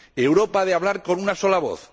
Europa ha de hablar con una sola voz.